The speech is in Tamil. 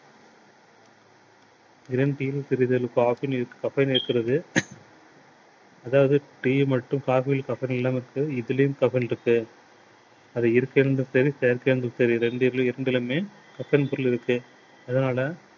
green tea யில் சிறிது caffeine caffeine இருக்கிறது அதாவது tea மட்டும் இதுலேயும் caffeine இருக்கு. அது இயற்கையா இருந்தாலும் சரி செயற்கையா இருந்தாலும் சரி இரண்டுலேயுமே caffeine பொருள் இருக்கு. அதனால